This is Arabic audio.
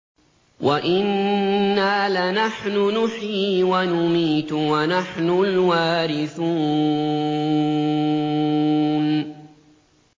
وَإِنَّا لَنَحْنُ نُحْيِي وَنُمِيتُ وَنَحْنُ الْوَارِثُونَ